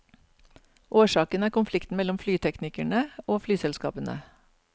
Årsaken er konflikten mellom flyteknikerne og flyselskapene.